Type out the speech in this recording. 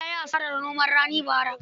Buba ya yi hasarar noma rani bara.